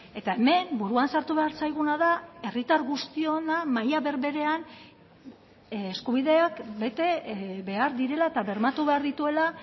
eta hemen buruan sartu behar zaiguna da herritar guztiona maila berberean eskubideak bete behar direla eta bermatu behar dituela